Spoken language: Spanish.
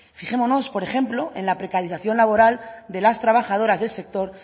fijémonos por ejemplo en la precarización laboral de las trabajadoras del sector